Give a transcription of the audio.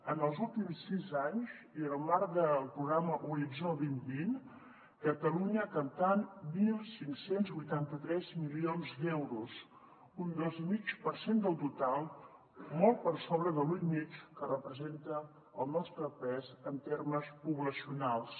en els últims sis anys i en el marc del programa horitzó dos mil vint catalunya ha captat quinze vuitanta tres milions d’euros un dos coma cinc per cent del total molt per sobre de l’un coma cinc que representa el nostre pes en termes poblacionals